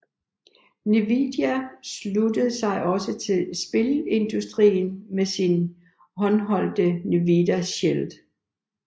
Nvidia sluttede sig også til spilindustrien med sin håndholdte Nvidia Shield